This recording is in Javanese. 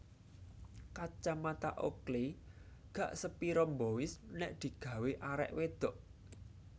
Kacamata Oakley gak sepiro mbois nek digawe arek wedhok